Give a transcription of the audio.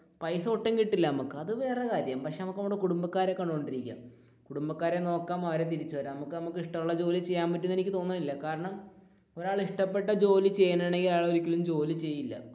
പൈസ ഒട്ടും കിട്ടില്ല അത് വേറെ കാര്യം പക്ഷെ നമുക്ക് നമ്മുടെ കുടുംബക്കാരെ കണ്ടോണ്ടിരിക്കാം കുടുംബക്കാരെ നോക്കാം നമുക്ക് ഇഷ്ടമുള്ള ജോലി ചെയ്യാൻ പറ്റുമെന്ന് എനിക്ക് തോന്നുന്നില്ല, കാരണം ഒരാൾ ഇഷ്ടപെട്ട ജോലി ചെയ്യുകയാണെങ്കിൽ അവർ ഒരിക്കലും ജോലി ചെയ്യില്ല